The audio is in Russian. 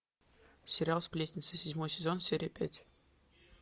сериал сплетницы седьмой сезон серия пять